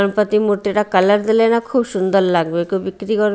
গণপতি মূর্তিটা কালার দিলে না খুব সুন্দর লাগবে কেউ বিক্রি কর--